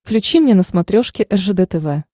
включи мне на смотрешке ржд тв